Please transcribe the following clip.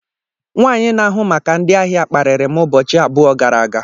Nwanyị na-ahụ maka ndị ahịa kparịri m ụbọchị abụọ gara aga.